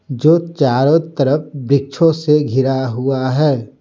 जो चारों तरफ वृक्षों से घिरा हुआ है।